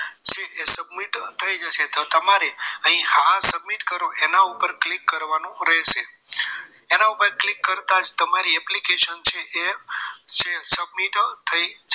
એ submit થઈ જશે તો તમારે અહીં હા submit કરો એના ઉપર click કરવાનું રહેશે એના ઉપર click કરતા જ તમારી application છે એ submit થઈ